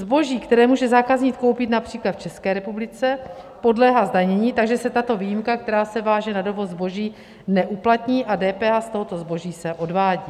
Zboží, které může zákazník koupit například v České republice, podléhá zdanění, takže se tato výjimka, která se váže na dovoz zboží, neuplatní a DPH z tohoto zboží se odvádí.